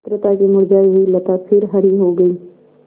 मित्रता की मुरझायी हुई लता फिर हरी हो गयी